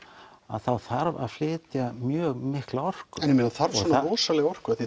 þá þarf að flytja mjög mikla orku en ég meina þarf svona rosalega orku